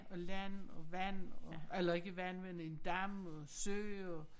Og land og vand og eller ikke vand men en dam og sø og